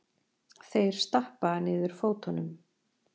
Þeir stappa niður fótunum.